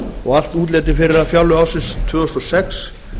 og allt útlit fyrir að fjárlög ársins tvö þúsund og sex